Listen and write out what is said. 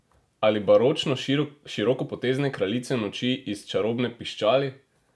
Ali baročno širokopotezne Kraljice noči iz Čarobne piščali?